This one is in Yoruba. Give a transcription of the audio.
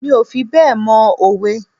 Mi ò fi bẹ́ẹ̀ mọ òwe.